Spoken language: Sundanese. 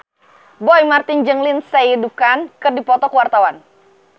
Roy Marten jeung Lindsay Ducan keur dipoto ku wartawan